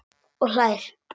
Og hlær.